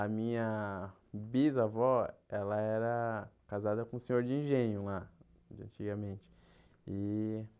A minha bisavó, ela era casada com um senhor de engenho lá, de antigamente e.